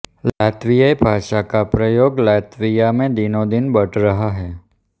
लातवियाई भाषा का प्रयोग लातविया में दिनोंदिन बढ़ रहा है